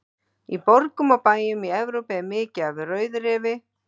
Í borgum og bæjum Evrópu er mikið um rauðrefi.